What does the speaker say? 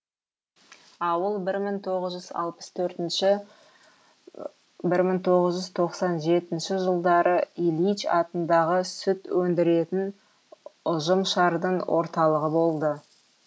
ауыл бір мың тоғыз жүз алпыс төртінші бір мың тоғыз жүз тоқсан жетінші жылдары ильич атындағы сүт өндіретін ұжымшардың орталығы болды